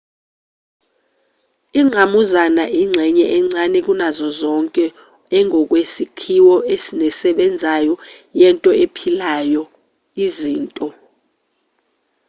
ingqamuzana ingxenye encane kunazo zonke engokwesakhiwo nesebenzayo yento ephilayo izinto